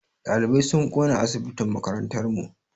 Ɗalibai sun ƙona asibitin makarantar mu.